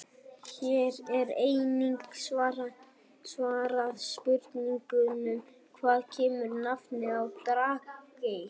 Hér er einnig svarað spurningunum: Hvaðan kemur nafnið á Drangey?